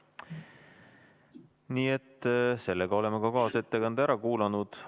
Nii et sellega oleme ka kaasettekande ära kuulanud.